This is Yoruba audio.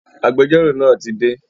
Agbẹjọ́rò náà ti dé